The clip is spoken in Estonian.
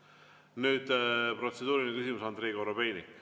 Nüüd protseduuriline küsimus, Andrei Korobeinik.